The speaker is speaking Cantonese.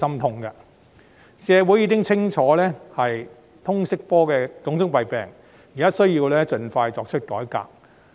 既然社會人士清楚了解通識科的種種弊病，便應盡快作出改革。